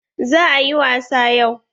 Za a yi wasa yau.